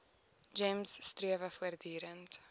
gems strewe voortdurend